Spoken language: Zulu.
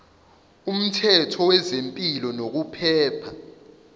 umthetho wezempilo nokuphepha